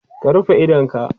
ka rufe idonka!